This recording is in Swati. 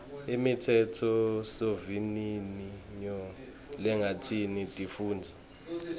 imitsetfosivivinyo lengatsintsi tifundza